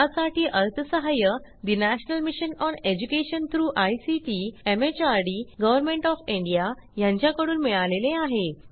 यासाठी अर्थसहाय्य national mission on education through ICT MHRD government of India यांच्याकडून मिळालेले आहे